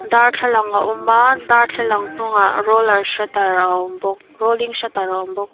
darthlalang a awm a darthlalang hnungah roller shutter a awm bawk rolling shutter a awm bawk.